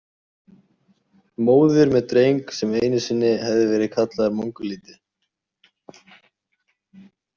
Móðir með dreng sem einu sinni hefði verið kallaður mongólíti.